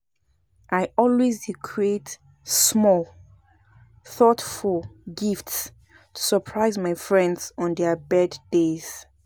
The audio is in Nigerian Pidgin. I always dey create small, thoughtful gifts to surprise my friends on their birthdays.